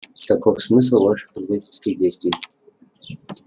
каков смысл ваших предательских действий